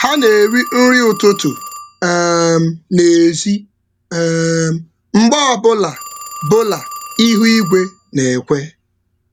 Ha na-eri um nri ụtụtụ n’èzí mgbe mgbe ọ bụla ihu um igwe um na-ekwe.